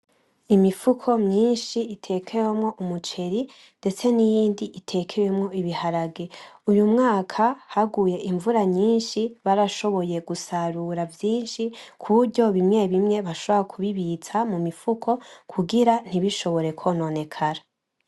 Imifuko myinshi itekewemwo umuceri ndetse n'iyindi itekewemwo ibiharage. Uyu mwaka haguye imvura nyinshi barashoboye gusarura vyinshi kuburyo bimwe bimwe bashobora kubibitsa mu mifuko kugira ntibishobore kwononekara.